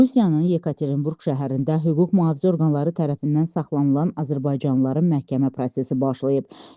Rusiyanın Yekaterinburq şəhərində hüquq mühafizə orqanları tərəfindən saxlanılan azərbaycanlıların məhkəmə prosesi başlayıb.